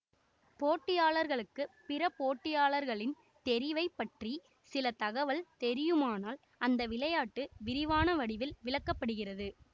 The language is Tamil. போட்டியாளர்களுக்கு பிற போட்டியாளர்களின் தெரிவைப் பற்றி சில தகவல் தெரியுமானால் அந்த விளையாட்டு விரிவான வடிவில் விளக்க படுகிறது